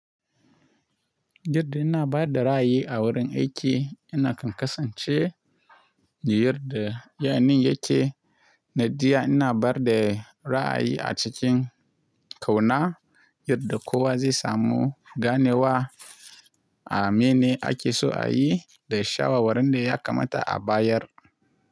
Yadda ina bada ra’ayi a wurin aiki, ina kan kasance, yace nadia ina bada ra’ayi a cikin ƙauna yadda kowa zai samu ganewa a mene ake so a yi da shawara wanda ya kamata a bayar.